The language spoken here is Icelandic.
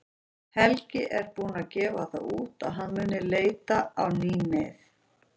Helgi er búinn að gefa það út að hann mun leita á ný mið.